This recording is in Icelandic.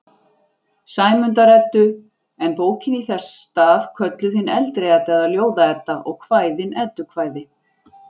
Sæmundar-Eddu, en bókin í þess stað kölluð hin eldri Edda eða Ljóða-Edda og kvæðin eddukvæði.